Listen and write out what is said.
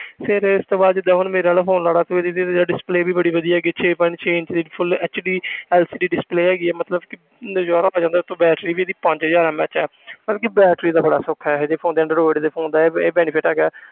ਫਿਰ ਇਸ ਤੋਂ ਬਾਅਦ ਜਿੱਦਾਂ ਹੁਣ ਮੇਰੇ ਵਾਲਾ phone ਲਾ ਲਾ ਤੇ ਇਹਦੀ ਤੇ ਯਾਰ display ਵੀ ਬੜੀ ਵਧੀਆ ਹੈਗੀ ਛੇ point ਛੇ inch ਦੀ full HDLCD display ਹੈਗੀ ਮਤਲਬ ਕਿ ਨਜ਼ਾਰਾ ਆ ਜਾਂਦਾ ਉੱਤੋਂ battery ਵੀ ਇਹਦੀ ਪੰਜ ਹਜ਼ਾਰ MAH ਹੈ ਮਤਲਬ ਕਿ battery ਦਾ ਬੜਾ ਸੁੱਖ ਹੈ ਇਹ ਜਿਹੇ phone ਦਾ android ਦੇ phone ਦਾ ਇਹ benefit ਹੈਗਾ ਹੈ